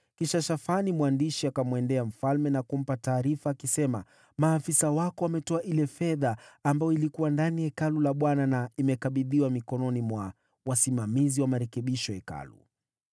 Kisha Shafani mwandishi akamwendea mfalme na kumpa taarifa akisema: “Maafisa wako wametoa ile fedha ambayo ilikuwa ndani ya Hekalu la Bwana na imekabidhiwa mikononi mwa wasimamizi wa marekebisho ya Hekalu.”